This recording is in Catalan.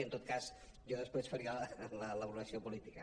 i en tot cas jo després faria la valoració política